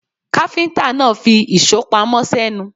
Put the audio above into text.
Káfíńtà náà fi ìṣó pamọ́ sẹ́nu.